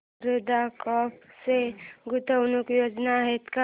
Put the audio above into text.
Sharda Crop च्या गुंतवणूक योजना आहेत का